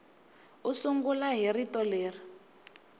u sungula hi rito leri